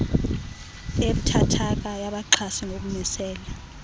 ebuthathaka yabaxhasi ngokumisela